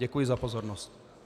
Děkuji za pozornost.